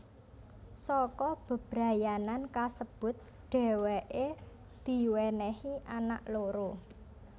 Saka bebrayanan kasebut dhèwèké diwènèhi anak loro